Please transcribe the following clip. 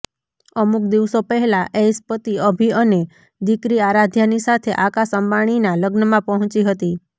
અમુક દિવસો પહેલા ઐશ પતિ અભી અને દીકરી આરાધ્યાની સાથે આકાશ અંબાણીના લગ્નમાં પહોંચી હતી